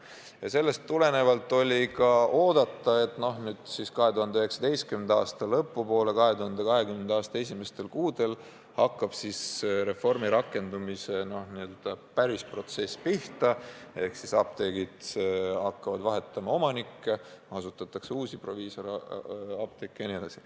Ja sellest tulenevalt oli ka oodata, et 2019. aasta lõpu poole ja 2020. aasta esimestel kuudel hakkab reformi rakendumise päris protsess pihta, apteegid hakkavad omanikku vahetama, asutatakse uusi proviisoriapteeke jne.